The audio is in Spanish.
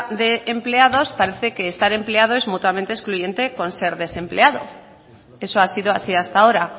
de empleados parece que estar empleado es mutuamente excluyente con ser desempleado eso ha sido así hasta ahora